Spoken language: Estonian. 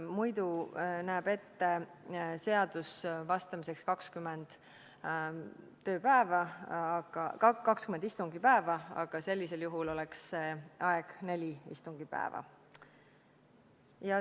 Muidu näeb seadus vastamiseks ette 20 istungipäeva, aga sellisel juhul oleks see aeg 4 istungipäeva.